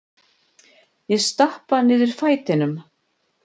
Ég stappa niður fætinum.